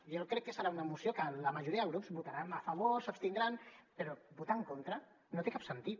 jo crec que serà una moció que la majoria de grups hi votaran a favor s’abstindran però votar hi en contra no té cap sentit